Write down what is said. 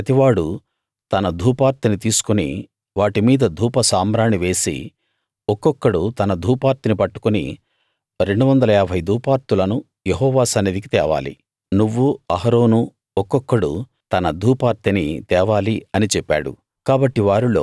మీలో ప్రతివాడూ తన ధూపార్తిని తీసుకుని వాటి మీద ధూప సాంబ్రాణి వేసి ఒక్కొక్కడు తన ధూపార్తిని పట్టుకుని 250 ధూపార్తులను యెహోవా సన్నిధికి తేవాలి నువ్వూ అహరోను ఒక్కొక్కడు తన ధూపార్తిని తేవాలి అని చెప్పాడు